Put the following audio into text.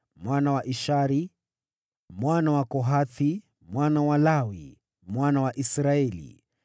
mwana wa Ishari, mwana wa Kohathi, mwana wa Lawi, mwana wa Israeli;